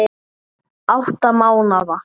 Átta mánaða